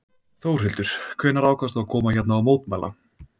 Þórhildur: Hvenær ákvaðstu að koma hérna og mótmæla?